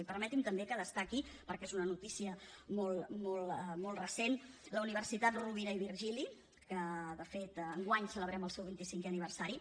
i permeti’m també que destaqui perquè és una notícia molt recent la universitat rovira i virgili que de fet enguany celebrem el seu vint i cinquè aniversari